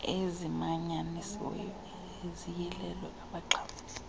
ezimanyanisiweyo ziyilelwe abaxhamli